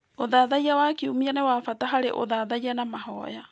Ũthathaiya wa Kiumia nĩ wa bata harĩ ũthathaiya na mahoya.